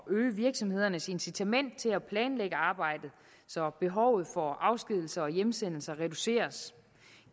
øge virksomhedernes incitament til at planlægge arbejdet så behovet for afskedigelser og hjemsendelser reduceres